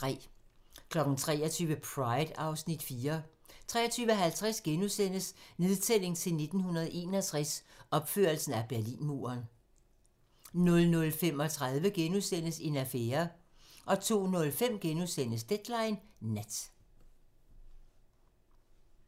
23:00: Pride (Afs. 4) 23:50: Nedtælling til 1961 - opførelsen af Berlinmuren * 00:35: En affære * 02:05: Deadline nat *